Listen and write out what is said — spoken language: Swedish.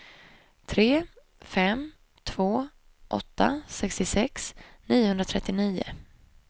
tre fem två åtta sextiosex niohundratrettionio